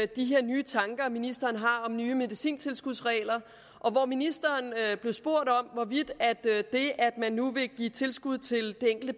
de her nye tanker ministeren har om nye medicintilskudsregler og hvor ministeren blev spurgt om hvorvidt det at man nu vil give tilskud til den enkelte